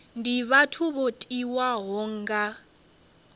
ndi vhathu vho tiwaho nga